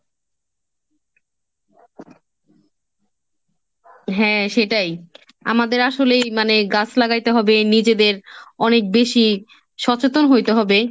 হ্যাঁ সেটাই, আমাদের আসলেই মানে গাছ লাগাইতে হবে নিজেদের অনেক বেশি সচেতন হইতে হবে।